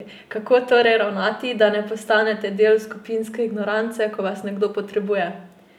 Kako torej ravnati, da ne postanete del skupinske ignorance, ko vas nekdo potrebuje?